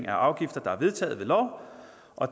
af afgifter der er vedtaget ved lov